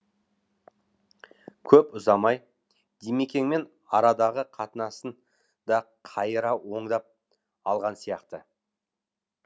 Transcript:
көп ұзамай димекеңмен арадағы қатынасын да қайыра оңдап алған сияқты